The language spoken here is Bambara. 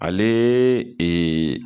Ale